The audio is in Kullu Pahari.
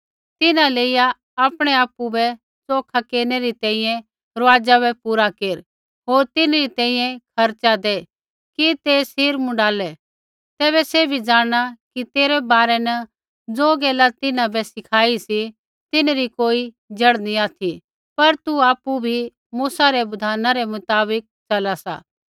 तिन्हां लेइया आपणै आपु बै च़ोखा केरनै रै रुआज़ा बै पूरा केर होर तिन्हरी तैंईंयैं खर्च़ा दै कि ते सिर मुँडालै तैबै सैभी ज़ाणना कि तेरै बारै न ज़ो गैला तिन्हां बै सिखाई सी तिन्हरी कोई जड़ नी ऑथि पर तू आपु बी मूसा रै बिधाना रै मुताबक च़ला सा